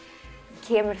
kemur